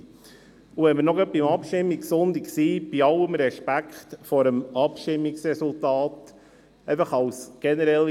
Und wenn wir gerade noch beim Abstimmungssonntag sind, habe ich eine generelle Vorbemerkung zu diesen Anträgen.